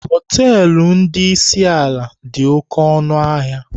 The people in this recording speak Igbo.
Hotelụ ndị isi ala dị oké ọnụ ahịa.